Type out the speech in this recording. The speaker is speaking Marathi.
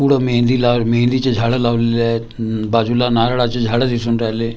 पुढं मेहेंदी लाव मेहेंदीची झाडं लावलेली आहेत उम्म बाजूला नारळाची झाडं दिसून राहिले .